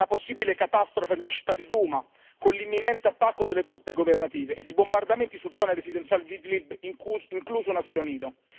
Una possibile catastrofe nella città di Duma, con l'imminente attacco delle truppe governative ed i bombardamenti su zone residenziali di Idlib, incluso un asilo nido.